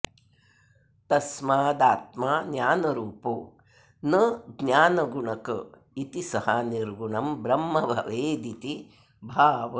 तस्मादात्मा ज्ञानरूपो न ज्ञानगुणक इति स निर्गुणं ब्रह्म भवेदिति भावः